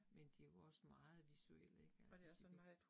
Men de jo også meget visuelle ik altså så det